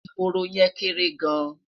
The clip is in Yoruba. ehoro yen kere gaan